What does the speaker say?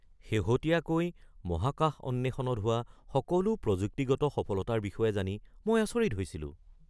শেহতীয়াকৈ মহাকাশ অন্বেষণত হোৱা সকলো প্ৰযুক্তিগত সফলতাৰ বিষয়ে জানি মই আচৰিত হৈছিলোঁ।